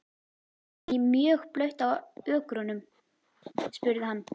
Er mjög blautt á ökrunum? spurði hann.